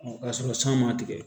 K'a sɔrɔ san ma tigɛ